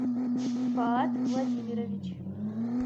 фаат владимирович